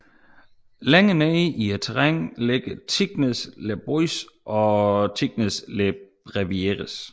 Længere nede i terrænnet ligger Tignes Les Boisses og Tignes Les Brevieres